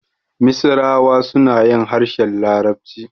Misirawa suna yin harshen larabci.